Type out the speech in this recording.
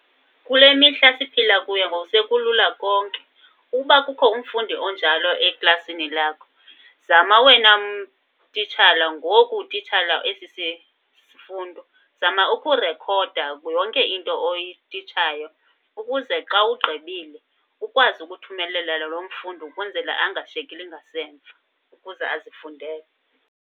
Kule mihla siphila kuyo ngoku sekulula konke. Uba kukho umfundi onjalo eklasini lakho, zama wena titshala ngoku utitshala esi sifundo. Zama ukurekhoda yonke into oyititshayo ukuze xa ugqibile ukwazi ukuthumelela lo mfundi ukwenzela angashiyekeli ngasemva, ukuze azifundele.